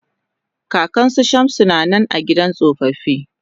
Kakan su Shamsu ta na nan a gidan tsofaffi.